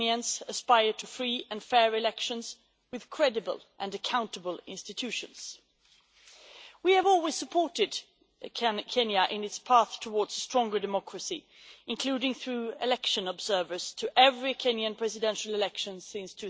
All Kenyans aspire to free and fair elections with credible and accountable institutions. We have always supported Kenya in its path towards stronger democracy, including by sending election observers to every Kenyan presidential election since